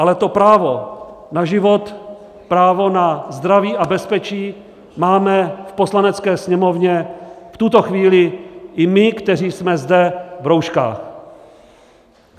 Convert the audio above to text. Ale to právo na život, právo na zdraví a bezpečí máme v Poslanecké sněmovně v tuto chvíli i my, kteří jsme zde v rouškách.